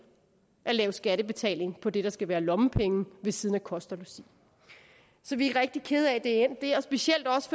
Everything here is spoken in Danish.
at lave skattebetaling på det der skal være lommepenge ved siden af kost og logi så vi er rigtig kede af at det er endt der specielt også